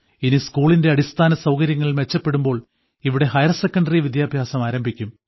ഇനി സ്കൂളിന്റെ അടിസ്ഥാനസൌകര്യങ്ങൾ മെച്ചപ്പെടുമ്പോൾ ഇവിടെ ഹയർസെക്കണ്ടറി വിദ്യാഭ്യാസം ആരംഭിക്കും